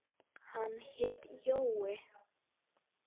Hann hét Jói.